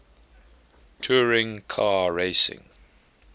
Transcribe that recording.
touring car racing